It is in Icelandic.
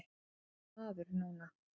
Þú ert nýr maður núna.